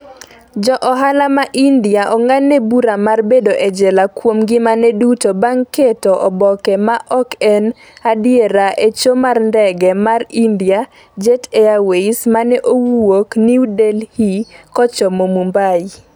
Ja ohala ma India ong'adne bura mar bedo e jela kuom ngimane duto bang' keto oboke ma ok en adiera e cho mar ndege mar India-Jet Airways mane wuok New Delhi kochomo Mumbai.